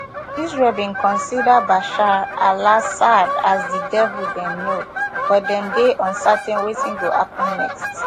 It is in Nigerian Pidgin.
israel bin consider bashar alassad as di devil dem know but dem dey uncertain wetin go happun next